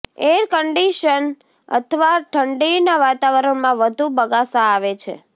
air conditioned અથવા ઠંડીના વાતાવરણમાં વધુ બગાસા આવે છે